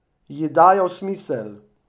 Ji dajal smisel.